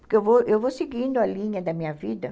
Porque eu vou eu vou seguindo a linha da minha vida.